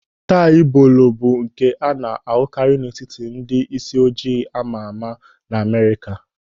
Tai bolo bụ nke a na-ahụkari n'etiti ndị isi ojiji amama n'Amerịka.